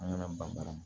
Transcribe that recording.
An kana ban